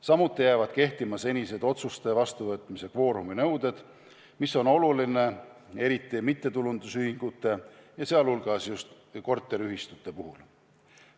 Samuti jäävad kehtivad senised otsuste vastuvõtmise kvoorumi nõuded, mis on oluline eriti mittetulundusühingute, sh just korteriühistute puhul.